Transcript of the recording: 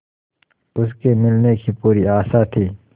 उसके मिलने की पूरी आशा थी